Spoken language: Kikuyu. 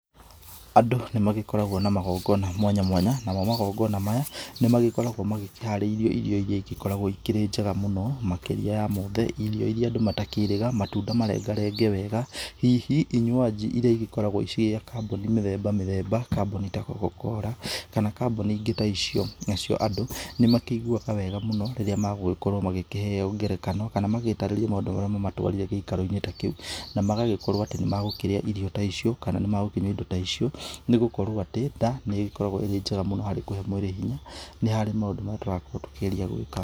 Andũ nĩmagĩkoragwo na magongona mwanya mwanya, namo magongona maya nĩ magĩkoragwo magĩkĩharĩirio irio iria igĩkoragwo ikĩrĩ njega mũno, makĩria ya mothe irio iria andũ matakĩĩrĩga, matunda marengarenge wega, hihi inywaji iria igĩkoragwo ciĩ kambuni mĩthemba mĩthemba, kambuni ta Cocacola, kana kambuni ingĩ ta icio. Nacio andũ nĩmakĩiguaga wega mũno rĩrĩa magũgĩkorwo magĩkĩheo ngerekano kana magĩtarĩrio maundũ marĩa mamatwarire gĩikaroinĩ ta kĩu. Na magagĩkorwo atĩ nĩmagũkĩrĩa irio ta icio kana nĩmagũkĩnyua indo ta icio nĩgũkorwo atĩ nda nĩ ĩgĩkoragwo ĩrĩ njega mũno harĩ kũhe mwĩrĩ hinya. Nĩ harĩ maũndũ marĩa tũragĩkorwo tũkĩgeria gwĩka.